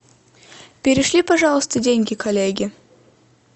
перешли пожалуйста деньги коллеге